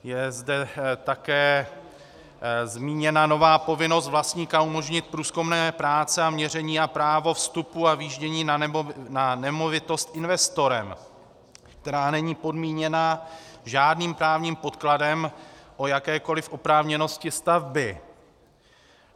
Je zde také zmíněna nová povinnost vlastníka umožnit průzkumné práce a měření a právo vstupu a vjíždění na nemovitost investorem, která není podmíněna žádným právním podkladem o jakékoli oprávněnosti stavby.